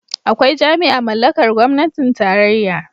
Akwai jami'a mallakar gwamnatin tarayya.